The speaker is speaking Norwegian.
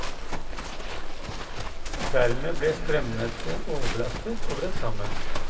Dermed ble strømnettet overbelastet og brøt sammen.